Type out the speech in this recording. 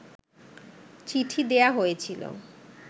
চিঠি দেয়া হয়েছিল